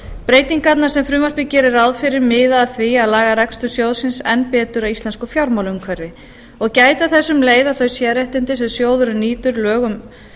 breytingarnar sem frumvarpið gerir ráð fyrir miða að því að laga rekstur sjóðsins enn betur að íslensku fjármálaumhverfi og gæta þess um leið að þau sérréttindi sem sjóðurinn nýtur lögum